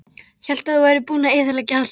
Hélt að þú værir búinn að eyðileggja allt.